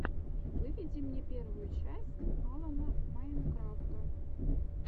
выведи мне первую часть алана майнкрафта